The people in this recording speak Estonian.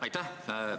Aitäh!